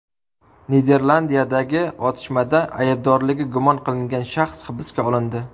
Niderlandiyadagi otishmada aybdorligi gumon qilingan shaxs hibsga olindi.